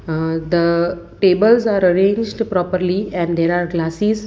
uhh the tables are arranged properly and there are glassis .